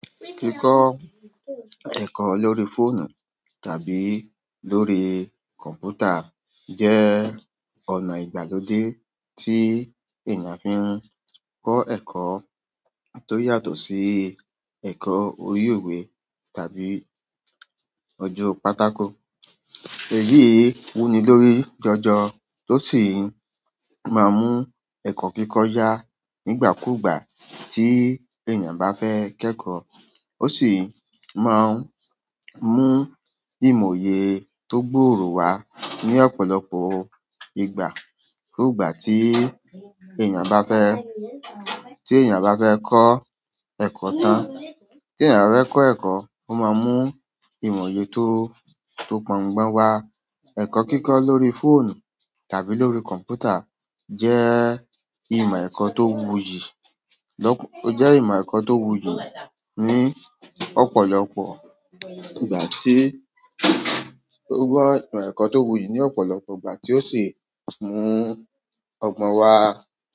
Kíkọ́ ẹ̀kọ́ lórí fóònù tàbí lórí kọ̀mpútà jẹ́ ọ̀nà ìgbàlódé tí èèyàn fi ń kọ́ ẹ̀kọ́ tó yàtọ̀ sí ẹ̀kọ́ orí owe tàbí ọjọ́ pátákó. Èyí wuni lórí jọjọ tó sì máa ń mú ẹ̀kọ́ kíkọ́ yá nígbàkúgbà tí èèyàn bá fẹ́ kẹ́kọ̀ọ́. Ó sì máa ń mú ìmòye tó gbòòrò wá ní ọ̀pọ̀lọpọ̀ ìgbà. Kúùgbà tí èèyàn bá fẹ́, tí èèyàn bá fẹ́ kọ́ ẹ̀kọ́ tán. Tí èèyàn ba fẹ kọ́ ẹ̀kọ́, ó máa ń mú ìmòye tó, tó pọngbọn wá. Ẹ̀kọ́ kíkọ́ lórí fóònù tàbí lórí kọ̀ǹpútà jẹ́ ìmọ̀ ẹ̀kọ́ tó wuyì. Ó jẹ́ ìmọ̀ ẹ̀kọ́ tó wuyì ní ọ̀pọ̀lọpọ̀ ìgbà tí, ó gbọ́ ìmọ̀ ẹ̀kọ́ tó wuyì ní ọ̀pọ̀lọpọ̀ ìgbà tí ó sì mú ọgbọ́n wá.